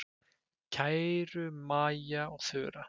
Kæru Maja og Þura.